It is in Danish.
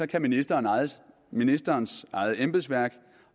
kan ministerens ministerens eget embedsværk